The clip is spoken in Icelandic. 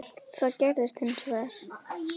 Það gerðist hins vegar.